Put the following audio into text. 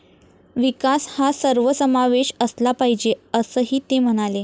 विकास हा सर्वसमावेश असला पाहिजे असंही ते म्हणाले.